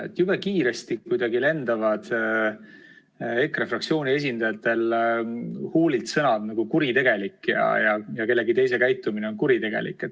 Kuidagi jube kiiresti lendavad EKRE fraktsiooni esindajate huulilt sellised sõnad nagu "kuritegelik", kellegi teise käitumine on "kuritegelik".